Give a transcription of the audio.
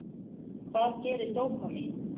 Hvað gerir dópamín?